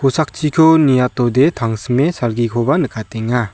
sakchiko niatode tangsime salgikoba nikatenga.